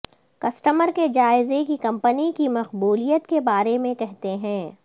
customer کے جائزے کی کمپنی کی مقبولیت کے بارے میں کہتے ہیں